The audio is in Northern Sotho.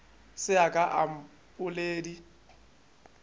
se a ka a mpoledi